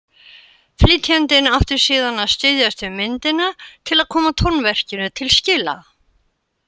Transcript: Flytjandinn átti síðan að styðjast við myndina til að koma tónverkinu til skila.